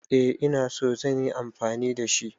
Eh ina so zan yi amfani da shi.